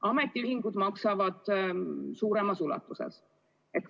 Ametiühingud maksavad suuremas ulatuses.